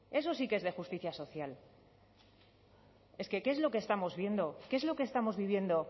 eso sí que es de justicia social es que qué es lo que estamos viendo qué es lo que estamos viviendo